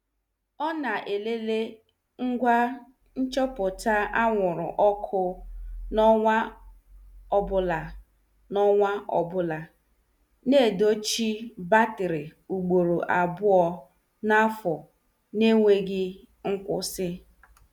Ọ na- elele ngwa nchọpụta anwụrụ ọkụ n' ọnwa ọbụla, n' ọnwa ọbụla, na edochi batri ugboro abụọ n' afọ na- enweghị nkwụsị.